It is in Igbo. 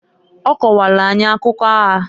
Ọ kọkwalụ anyị akụkọ aya.